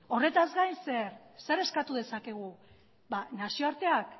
horretaz gain zer zer eskatu dezakegu nazioarteak